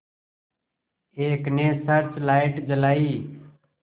एक ने search light जलाई